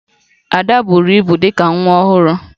Ada buburu ibu dị ka nwa ọhụrụ